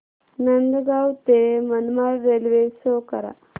नांदगाव ते Manmad railway show करा